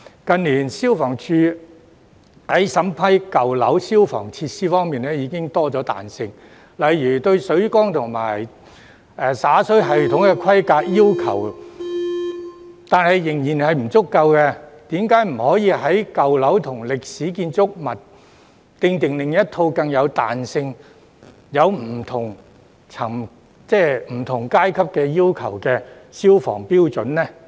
近年，消防處在審批舊樓消防設施方面已增加彈性，但水缸和灑水系統的規格要求仍然不夠彈性，為甚麼不可為舊樓和歷史建築物訂定另一套更具彈性並設有分級要求的消防標準？